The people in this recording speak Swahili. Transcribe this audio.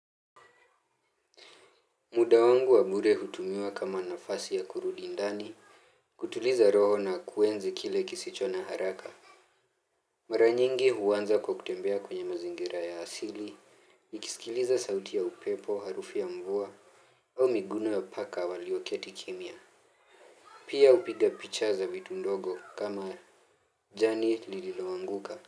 Muda wangu wa bure hutumiwa kama nafasi ya kurudi ndani, kutuliza roho na kuenzi kile kisicho na haraka. Maranyingi huanza kwa kutembea kwenye mazingira ya asili, nikisikiliza sauti ya upepo, harufu ya mvua, au miguno ya paka walioketi kimya. Pia hupiga picha za vitu ndogo kama jani lililoanguka.